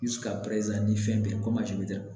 ni fɛn bɛɛ